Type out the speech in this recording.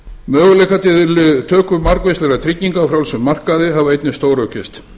möguleikar til töku margvíslegra trygginga á frjálsum markaði hafa einnig stóraukist